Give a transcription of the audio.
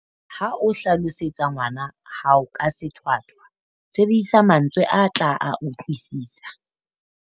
Ha o hlalosetsa ngwana hao ka sethwathwa, sebedisa mantswe a tla a utlwisisa.